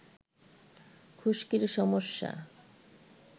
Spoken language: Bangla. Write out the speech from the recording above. খুশকির সমস্যা